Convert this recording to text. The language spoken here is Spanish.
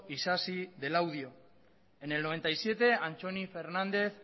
isasi de laudio en el noventa y siete antxoni fernández